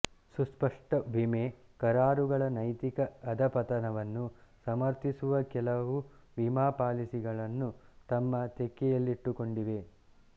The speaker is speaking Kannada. ಸುಸ್ಪಷ್ಟ ವಿಮೆ ಕರಾರುಗಳ ನೈತಿಕ ಅಧಃಪತನವನ್ನು ಸಮರ್ಥಿಸುವ ಕೆಲವು ವಿಮಾ ಪಾಲಿಸಿಗಳನ್ನು ತಮ್ಮ ತೆಕ್ಕೆಯಲ್ಲಿಟ್ಟುಕೊಂಡಿವೆ